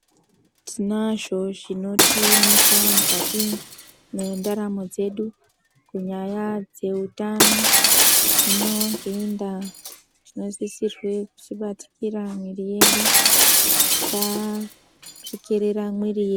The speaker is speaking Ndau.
Tinazvo zvinotimisa mwukati mwendaramo dzedu kunyaya dzehutano. Hino ngeiyi ndaa, tinosisirwe kuchibatikira miiri yedu, tisarekerera mwiri yedu.